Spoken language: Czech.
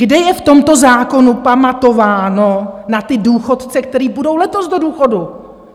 Kde je v tomto zákonu pamatováno na ty důchodce, kteří půjdou letos do důchodu?